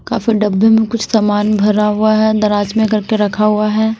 काफी डब्बे में कुछ सामान भरा हुआ है दराज में करके रखा हुआ है।